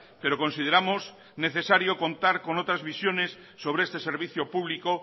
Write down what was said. pero consideramos necesario contar con otras visiones sobre este servicio público